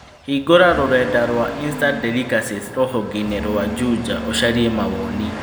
Hingura rũrenda rũa Instant Delicacies rũhonge-inĩ rũa Juja ũcaria mawoni.